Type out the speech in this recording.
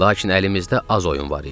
Lakin əlimizdə az oyun var idi.